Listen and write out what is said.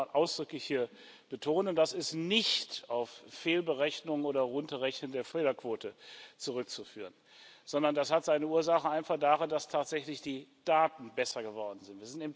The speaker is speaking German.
Ich will das noch mal ausdrücklich hier betonen Das ist nicht auf Fehlberechnung oder runterrechnen der Fehlerquote zurückzuführen, sondern das hat seine Ursache einfach darin, dass die Daten tatsächlich besser geworden sind.